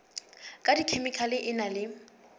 ka dikhemikhale e na le